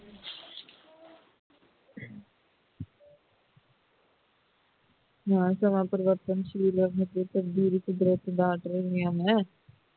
ਨਵਾਂ ਸਮੇਂ ਦਾ ਪਰਿਵਰਤਨ ਕੁਦਰਤ ਦਾ ਅਟੱਲ ਨਿਯਮ ਹੈ